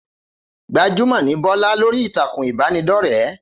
Gbajúmò ní Bọ́lá lórí ìtàkùn ìbánidọ́rẹ́